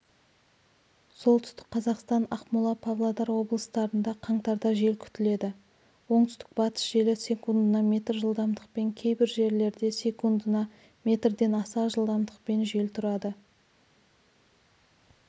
солтүстік қазақстан ақмола павлодар облыстарында қаңтарда жел күтіледі оңтүстік-батыс желі секундына метр жылдамдықпен кейбір жерлерде секундына метрден аса жылдамдықпен жел тұрады